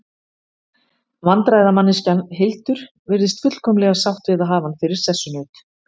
Vandræðamanneskjan Hildur virðist fullkomlega sátt við að hafa hann fyrir sessunaut.